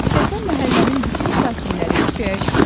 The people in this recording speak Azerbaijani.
Səsə məhəllənin bütün sakinləri küçəyə çıxmışdılar.